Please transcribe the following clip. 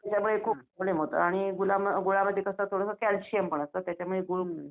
त्याच्यामुळे खूप प्रॉब्लेम होतो आणि गुळामध्ये कसं थोडंसं कॅल्शिअम पण असतं त्याच्यामुळे गूळ